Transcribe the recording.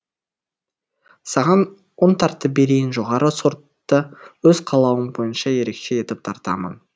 саған ұн тартып берейін жоғары сортты өз қалауың бойынша ерекше етіп тартамын